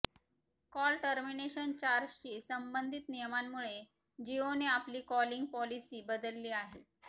call termination चार्जशी संबंधीत नियमांमुळे जिओने आपली कॉलिंग पॉलिसी बदलली आहे